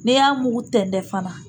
N'i y'a mugu tɛntɛn fana